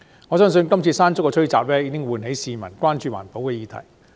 我相信"山竹"吹襲也喚起了市民關注環保議題。